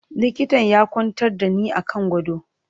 Likitan ya kwantar da ni a kan gado.